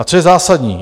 A co je zásadní?